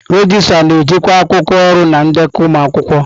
Regịstrá na-ejikwa akwụkwọ ọrụ na ndekọ ụmụ akwụkwọ.